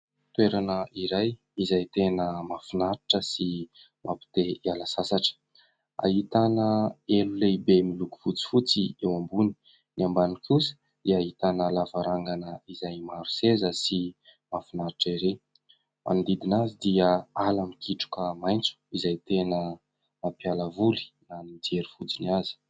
Toerana iray izay tena mafinaritra sy mampite hiala sasatra. Ahitana elo lehibe miloko fotsifotsy eo ambony. Ny ambany kosa dia ahitana lavarangana izay maro seza sy mafinaritra ery. Manodidina azy dia ala mikitroka maintso izay tena mampialavoly na mijero fojiny aza.